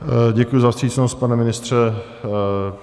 Děkuji za vstřícnost, pane ministře.